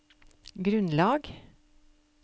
grunnlag